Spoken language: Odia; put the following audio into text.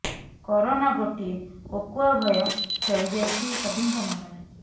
କରୋନା ଗୋଟିଏ କୋକୁଆ ଭୟ ଖେଳି ଯାଇଛି ସଭିଙ୍କ ମନରେ